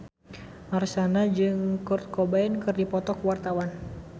Marshanda jeung Kurt Cobain keur dipoto ku wartawan